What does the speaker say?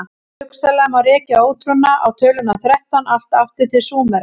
hugsanlega má rekja ótrúna á töluna þrettán allt aftur til súmera